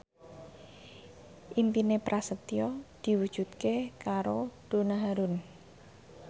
impine Prasetyo diwujudke karo Donna Harun